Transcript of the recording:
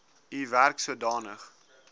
u werk sodanig